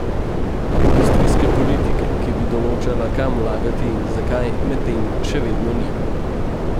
Industrijske politike, ki bi določala, kam vlagati in zakaj, medtem še vedno ni.